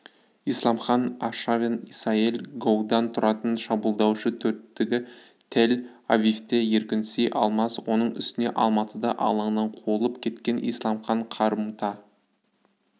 исламхан-аршавин-исаель-гоудан тұратын шабуылдаушы төрттігі тель-авивте еркінси алмас оның үстіне алматыда алаңнан қуылып кеткен исламхан қарымта